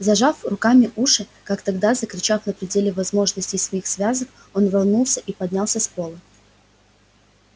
зажав руками уши как тогда закричав на пределе возможностей своих связок он рванулся и поднялся с пола